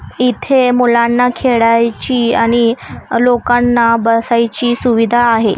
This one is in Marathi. इथे मुलांना खेळायची आणि लोकांना बसायची सुविधा आहे.